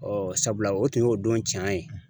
sabula o tun y'o don cɛn ye.